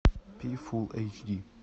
пи фулл эйч ди